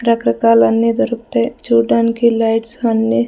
రకరకాలన్నీ దొరికుతాయ్ చూడ్డానికి లైట్స్ అన్నీ--